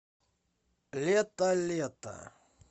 летолето